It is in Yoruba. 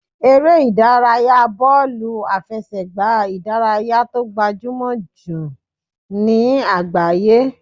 Eré ìdárayá bọ́ọ̀lù àfẹsẹ̀gbá ìdárayá tó gbajúmọ̀ jù ní àgbáyé.